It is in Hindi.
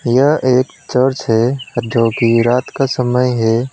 यह एक चर्च है जो की रात का समय है।